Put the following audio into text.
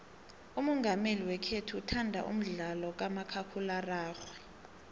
umongameli wekhethu uthanda umdlalo kamakhakhulararhwe